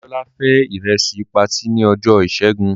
Dámilọ́lá fé ìrẹsì patí ní ọjọ́ ìṣẹ́gun.